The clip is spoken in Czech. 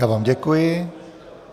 Já vám děkuji.